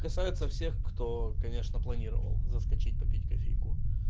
касается всех кто конечно планировал заскочить попить кофейку